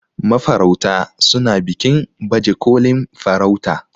mafarauta suna bikin bajekolin farauta